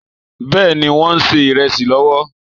Bẹ́ẹ̀ni, wọ́n ń ṣe ìrẹsì lọ́wọ́?